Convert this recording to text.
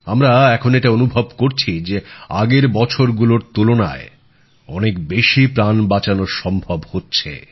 আমরা এখন এটা অনুভব করছি যে আগের বছরগুলোর তুলনায় অনেক বেশি প্রাণ বাঁচানো সম্ভব হচ্ছে